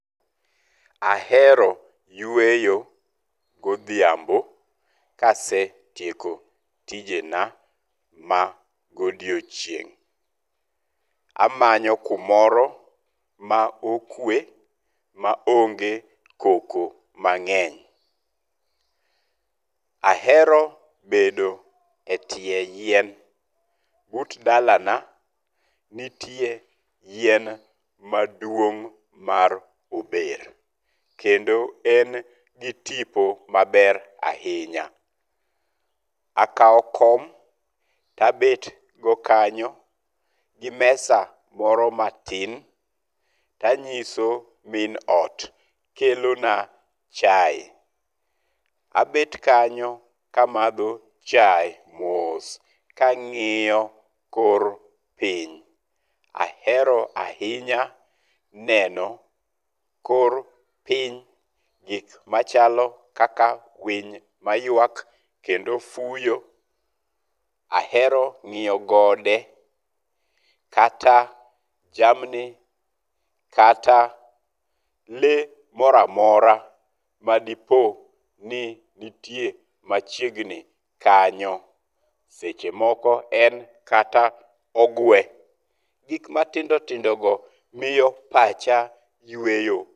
Ahero yueyo godhiambo kasetieko tijena ma godiochieng'. Amanyo kumoro ma okwe ma onge koko mangeny'. Ahero bedo e tie yien. But dalana nitie yien maduong' mar ober. Kendo en gi tipo maber ahinya. Akawo kom to abet go kanyo gi mesa moro matin. To anyiso min ot kelona chae. Abet kanyo ka amadho chae mos ka ang'iyo kor piny. Ahero ahinya neno kor piny gik machalo kaka winy mayuak kendo fuyo. Ahero ng'iyo gode, kata jamni, kata le moro amora madipo ni nitie machiegni kanyo. Seche moko en kata ogwe. Gik matindo tindogo miyo pacha yueyo.